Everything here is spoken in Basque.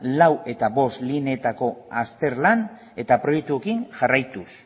lau eta bost lineetako azterlan eta proiektuekin jarraituz